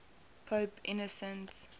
pope innocent